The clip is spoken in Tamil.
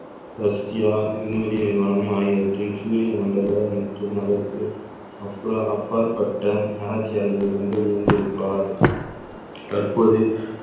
ரஷ்யா விண்வெளி நிறுவனம் ஆகியவற்றை சூரிய மண்டல மற்றும் அதற்கு அப்பாற்~ அப்பாற்பட்ட ஆராய்ச்சியாளர்களுக்கு கொண்டு வந்து இருப்பார் தற்போது